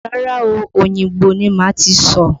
Rárá o, Òyìngbò ni màá ti sọ̀.